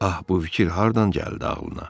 Ah, bu fikir hardan gəldi ağlına?